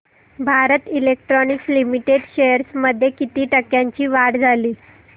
Bharat electronics limited shares मध्ये किती टक्क्यांची वाढ झाली